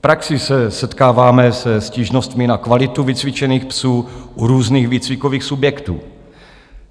V praxi se setkáváme se stížnostmi na kvalitu vycvičených psů u různých výcvikových subjektů.